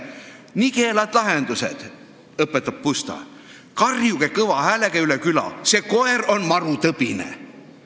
" Pusta arvates on need nigelad lahendused ja ta õpetab: "Karjuge kõva häälega üle küla: "See koer on marutõbine!"